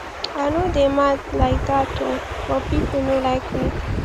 i no dey mad like dat oo but people no like me